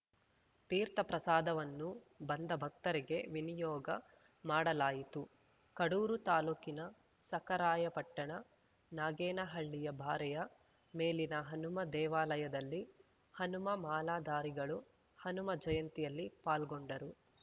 ತೀರ್ಥಪ್ರಸಾದವನ್ನು ಬಂದ ಭಕ್ತರಿಗೆ ವಿನಿಯೋಗ ಮಾಡಲಾಯಿತು ಕಡೂರು ತಾಲೂಕಿನ ಸಖರಾಯಪಟ್ಟಣ ನಾಗೇನಹಳ್ಳಿಯ ಬಾರೆಯ ಮೇಲಿನ ಹನುಮ ದೇವಾಲಯದಲ್ಲಿ ಹನುಮ ಮಾಲಾಧಾರಿಗಳು ಹನುಮ ಜಯಂತಿಯಲ್ಲಿ ಪಾಲ್ಗೊಂಡರು